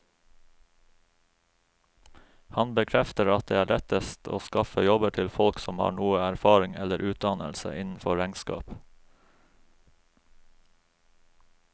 Han bekrefter at det er lettest å skaffe jobber til folk som har noe erfaring eller utdannelse innenfor regnskap.